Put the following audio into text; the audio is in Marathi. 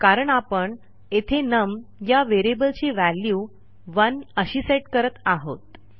कारण आपण येथे नम या व्हेरिएबलची व्हॅल्यू 1अशी सेट करत आहोत